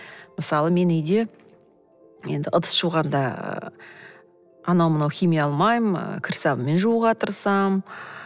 мысалы мен үйде енді ыдыс жуғанда анау мынау химия алмаймын ы кір сабынмен жууға тырысамын